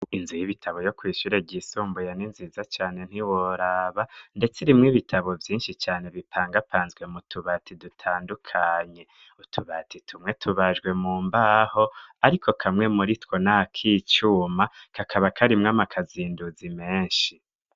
Inzu y'ibitabo yo kwishure ryisumbuye ni nziza cane ntiworaba, ndetse irimwo ibitabo vyinshi cane bipangapanzwe mu tubati dutandukanye utubati tumwe tubajwe mu mbaho, ariko kamwe muri two ni akicuma kakaba karimwo amakazinduzi menshi.